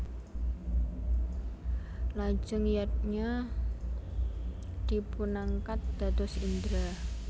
Lajeng Yadnya dipunangkat dados Indra